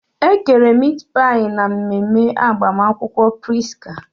E kere mit pai na mmemme agbamakwụkwọ Prisca.